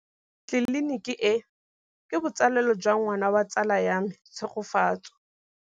Tleliniki e, ke botsalêlô jwa ngwana wa tsala ya me Tshegofatso.